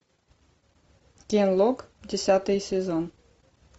генлок десятый сезон